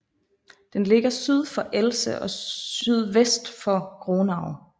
Den ligger syd for Elze og sydvest for Gronau